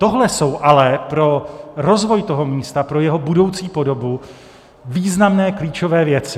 Tohle jsou ale pro rozvoj toho místa, pro jeho budoucí podobu, významné klíčové věci.